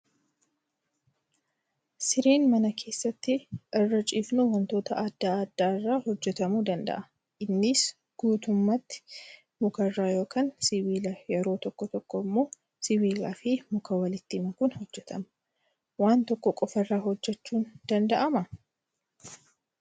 Sireen mana keessatti irra ciifnu wantoota adda addaa irraa hojjatamuu danda'a. Innis guutummaatti mukarraa yookaan sibiila yeroo tokko tokko immoo sibiilaa fi muka walitti makuun hojjatama. Waan tokko qofaarraa hojjachuun danda'amaa?